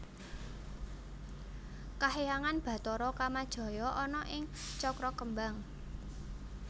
Kahyangan Bathara Kamajaya ana ing Cakrakembang